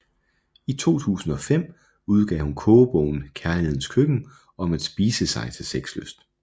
I 2005 udgav hun kogebogen Kærlighedens Køkken om at spise sig til sexlyst